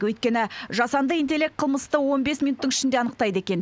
өйткені жасанды интеллект қылмысты он бес минуттың ішінде анықтайды екен